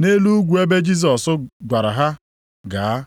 nʼelu ugwu ebe Jisọs gwara ha gaa.